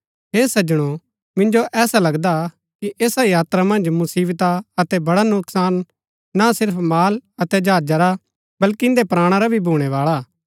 हे सज्जनो मिन्जो ऐसा लगदा कि ऐसा यात्रा मन्ज मुसिवता अतै बड़ा नुकसान ना सिर्फ माल अतै जहाजा रा बल्कि इन्दै प्राणा रा भी भूणैवाळा हा